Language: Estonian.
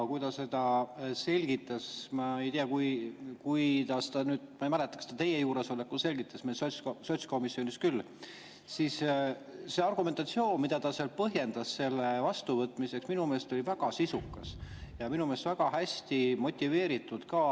Kui ta seda selgitas – ma ei mäleta, kas ta teie juuresolekul seda selgitas, sotskomisjonis küll –, siis see argumentatsioon, mida ta seal tõi selle poolt, oli minu meelest väga sisukas ja väga hästi motiveeritud ka.